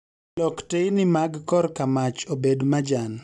Lok teyni mag kor kamach obed majan